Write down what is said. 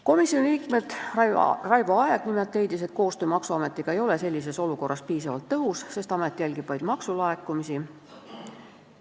Komisjoni liige Raivo Aeg leidis, et koostöö maksuametiga ei ole sellises olukorras piisavalt tõhus, sest amet jälgib vaid maksulaekumisi.